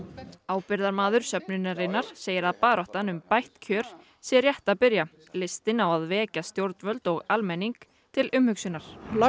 ábyrgðarmaður söfnunarinnar segir að baráttan um bætt kjör sé rétt að byrja listinn á að vekja stjórnvöld og almenning til umhugsunar